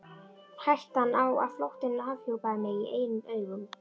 Hættan á að flóttinn afhjúpaði mig í eigin augum.